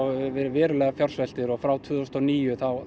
verið verulega fjársveltir og frá tvö þúsund og níu